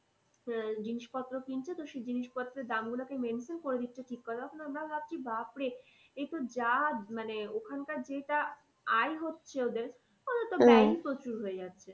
আহ জিনিস পত্র কিনছে তো সেই জিনিস পত্রের দাম গুলোকে mention করে দিচ্ছে ঠিক কথা কিন্তু আমরা ভাবছি বাপরে এ তো যা মানে ওখানকার যেটা আয় হচ্ছে ওদের তো প্রচুর হয়ে যাচ্ছে।